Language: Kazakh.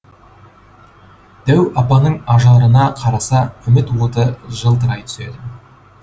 дәу апаның ажарына қараса үміт оты жылтырай түседі